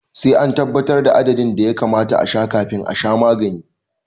Sai an tabbatar da adadin da ya kamata a sha kafin a sha magani